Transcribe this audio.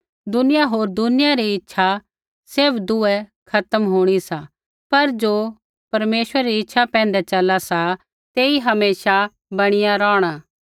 दुनिया होर दुनिया री इच्छा सैभ दूऐ खत्म होंणी सा पर ज़ो परमेश्वर री इच्छा पैंधै चला सा तेई हमेशा बणीया रौहणा